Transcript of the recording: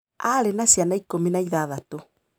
Aarĩ na ciana ikũmi na ithathatũ.